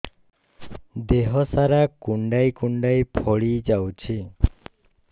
ଦେହ ସାରା କୁଣ୍ଡାଇ କୁଣ୍ଡାଇ ଫଳି ଯାଉଛି